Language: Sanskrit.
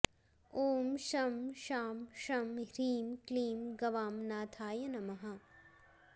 ॐ शं शां षं ह्रीं क्लीं गवां नाथाय नमः